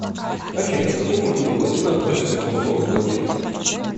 афина к какому виду плотин относятся грунтовые плотины